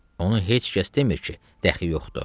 Onu heç kəs demir ki, daha yoxdur.